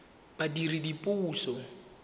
badiredipuso